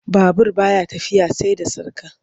Babur ba ya tafiya sai da sarƙa.